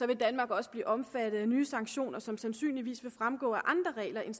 vil danmark også blive omfattet af nye sanktioner som sandsynligvis vil fremgå af andre regler end